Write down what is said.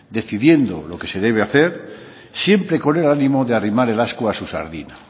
decidiendo lo que se debe hacer siempre con el ánimo de arrimar el ascua a su sardina